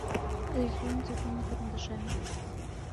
рисуем цветными карандашами